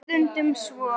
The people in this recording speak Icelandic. Það er stundum svo.